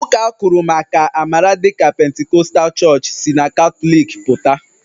Ụka akụrụmaka amara dịka pentikọtal chọọchị si na Katọlik pụta.